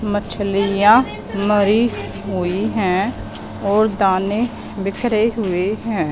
मछलियां मरी हुई हैं और दाने बिखरे हुए हैं।